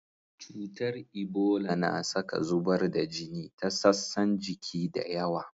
Cutar Ibola na saka zubar da jini ta sassan jiki da yawa.